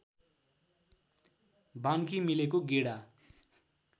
बान्की मिलेको गेडा